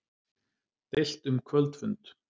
Deilt um kvöldfund